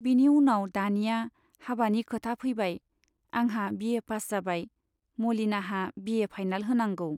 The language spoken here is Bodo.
बिनि उनाव दानिया हाबानि खोथा फैबाय आंहा बि ए पास जाबाय , मलिनाहा बि ए फाइनाल होनांगौ।